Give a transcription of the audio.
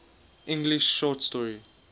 english short story